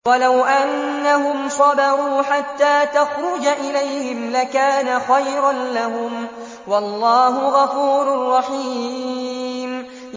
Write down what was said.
وَلَوْ أَنَّهُمْ صَبَرُوا حَتَّىٰ تَخْرُجَ إِلَيْهِمْ لَكَانَ خَيْرًا لَّهُمْ ۚ وَاللَّهُ غَفُورٌ رَّحِيمٌ